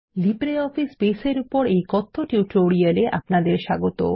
LibreOffice Base এর এই কথ্য টিউটোরিয়ালে আপনাদের স্বাগত